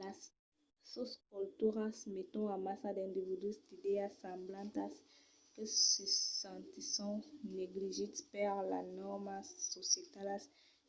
las sosculturas meton amassa d'individus d'idèas semblantas que se sentisson negligits per las nòrmas societalas